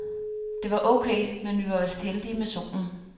Det var ok, men vi var vist heldige med solen.